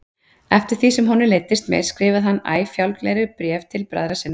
Eftir því sem honum leiddist meir skrifaði hann æ fjálglegri bréf til bræðra sinna.